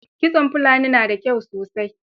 Kitson Fulani na da kyau sosai.